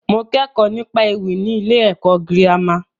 Mo kẹ́kọ̀ọ́ nípa ewì ní ilé ẹ̀kọ́ girama.